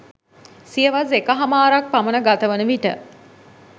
සියවස් එකහමාරක් පමණ ගතවන විට